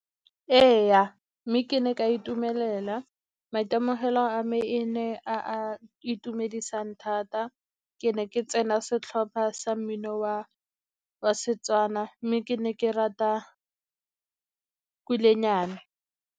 Ee, mme ke ne ke itumelela maitemogelo a me e ne a a itumedisang thata. Ke ne ke tsena setlhopha sa mmino wa Setswana mme ke ne ke rata kulenyana.